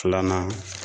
Filanan